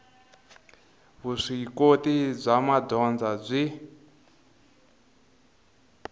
vuswikoti bya madyondza byi